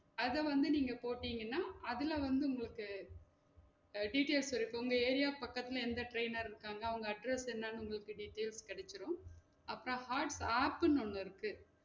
அத வந்து நீங்க போட்டிங்கனா அதுல வந்து உங்களுக்கு details இருக்கு உங்க ஏரியா பக்கத்துல எந்த trainer இருக்காங்க அவுங்க address என்னென்ற உங்களுக்கு details கெடைச்சிரும் அப்பறம் heart ஒன்னு இருக்கு